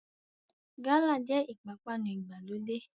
Gálà jẹ́ ìpápánu ìgbàlódé